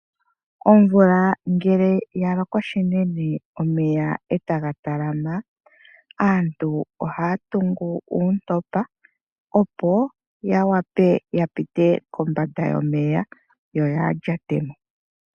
Omvula ngele ya loko shinene omeya etaga talama, aantu ohaya tungu uuntopa opo ya wape ya pite kombanda yomeya yo yaalyatemo.